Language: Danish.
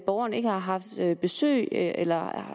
borgeren ikke har haft besøg eller